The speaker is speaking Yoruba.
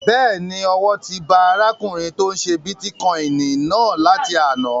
Bẹ́ẹ̀ni, owó ti ba arákùnrin tó n ṣe bítíkọ́ìnì náà láti àná